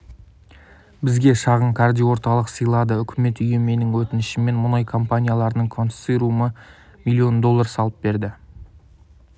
бізге шағын кардиоорталық сыйлады үкімет үйі менің өтінішіммен мұнай компанияларының корсорциумы млн долларға салып берді